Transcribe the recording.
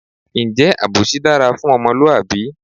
Ǹjẹ́ àbòsí dára fún ọmọlúwàbí?